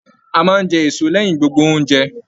A máa n jẹ èso lẹyìn gbogbo ounjẹ.